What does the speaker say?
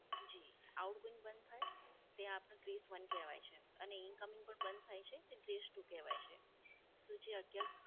જી, Outgoing બંધ થાય તે આપને Free fund કહેવાય છે. અને Incoming બંધ થાય છે તે Bress two કહેવાય છે.